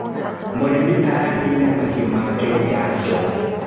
Mũrĩmi araheire mahiũ make janjo.